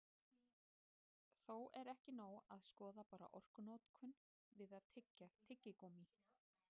Þó er ekki nóg að skoða bara orkunotkun við að tyggja tyggigúmmí.